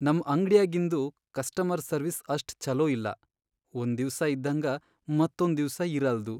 ನಮ್ ಅಂಗ್ಡ್ಯಾಗಿಂದು customer service ಅಷ್ಟ್ ಛಲೋ ಇಲ್ಲಾ, ಒಂದ್ ದಿವ್ಸ ಇದ್ದಂಗ ಮತ್ತೊಂದ್ ದಿವ್ಸ ಇರಲ್ದು.